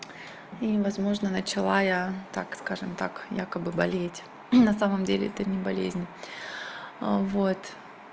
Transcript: и возможно начала я так скажем так якобы болеть на самом деле это не болезнь а вот